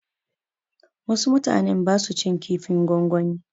Wasu mutanen ba su cin kifin gongwani.